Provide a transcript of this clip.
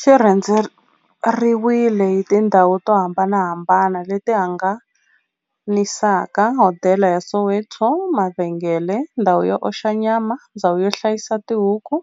Xi rhendzeriwile hi tindhawu to hambanahambana le ti hambanisaka, hodela ya Soweto, mavhengele, ndhawu yo oxa nyama, ndhawu yo hlayisa tibuku,